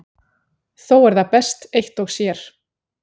Þó er það best eitt og sér.